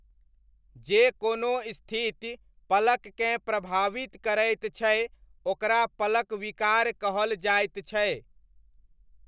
जे कोनो स्थिति पलककेँ प्रभावित करैत छै ओकरा पलक विकार कहल जाइत छै।